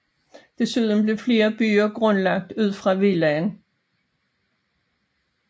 Desuden blev flere byer grundlagt ud fra villaen